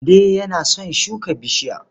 Mande yana son shuka bishiya.